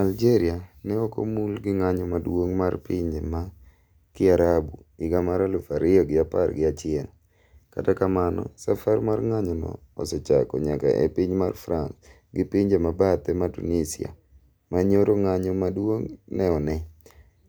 Algeria ne okomul gi ng'anyo maduong' mar pinje ma kiarabu higa mar aluf ariyo gi apar gi achiel . kata kamano safar mar ng'anyo no osechako nyaka e piny mar France gi pinje mabathe ma Tunisia ma nyoro ng'anyo ma duong' ne one.